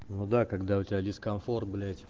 ну да когда у тебя дискомфорт блять